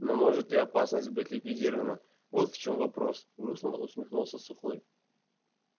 но может ли опасность быть ликвидирована вот в чём вопрос грустно усмехнулся сухой